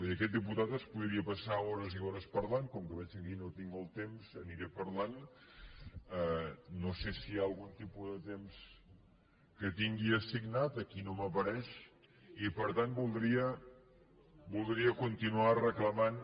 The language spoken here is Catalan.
i aquest diputat es podria passar hores i hores parlant com que veig que aquí no tinc el temps aniré parlant no sé si hi ha algun tipus de temps que tingui assignat aquí no m’apareix i per tant voldria continuar reclamant